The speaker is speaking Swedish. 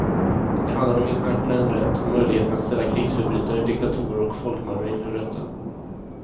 Det handlar om internationell rätt och möjligheten att ställa krigsförbrytare, diktatorer och folkmördare inför rätta.